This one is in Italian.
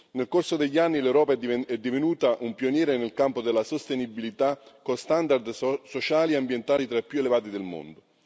Nel corso degli anni, l'Europa è divenuta un pioniere nel campo della sostenibilità, con standard sociali e ambientali tra i più elevati del mondo.